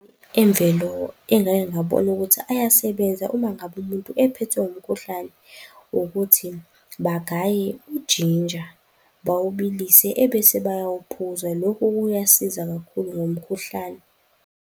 Imvelo engake ngabona ukuthi ayasebenza uma ngabe umuntu ephethwe umkhuhlane ukuthi bagaye ujinja, bawubilise, ebese bayawuphuza. Lokhu kuyasiza kakhulu ngomkhuhlane.